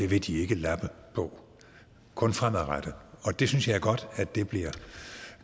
vil de ikke lappe på kun fremadrettet og det synes jeg er godt bliver